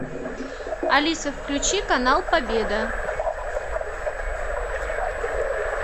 алиса включи канал победа